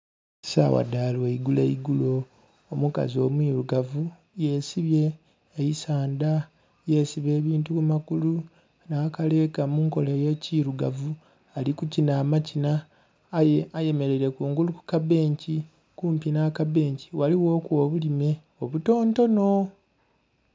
Sawa dha lwaigulo igulo omukazi omwirugavu yesibye eisadha, yesiba ebintu ku magulu nha kalega munkola eye kirugavu ali kukinha amakinha aye ayemereire kungulu ku kabenki, kumpi nha kabenki ghaligho ku obulime obutontono.